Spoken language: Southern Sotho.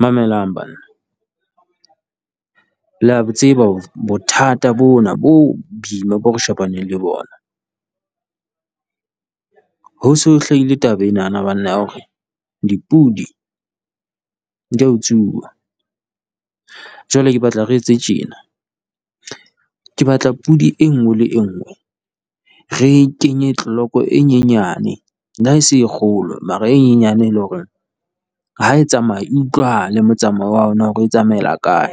Mamelang banna, lea bo tseba bothata bona bo boima boo re shebaneng le bona. Ho so hlahile taba enana banna ya hore dipodi di a utsuwa. Jwale ke batla re etse tjena, ke batla podi e nngwe le enngwe re kenye clock e nyenyane. Le ha e se e kgolo mara e nyenyane le hore ha e tsamaya e utlwahale, motsamao wa yona hore e tsamaela kae,